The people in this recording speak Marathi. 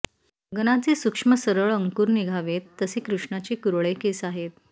गगनाचे सूक्ष्म सरळ अंकुर निघावेत तसे कृष्णाचे कुरळे केस आहेत